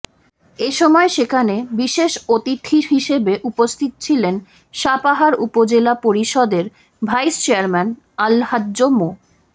এ সময় সেখানে বিশেষ অতিথি হিসেবে উপস্থিত ছিলেন সাপাহার উপজেলা পরিষদের ভাইস চেয়ারম্যান আলহাজ্ব মো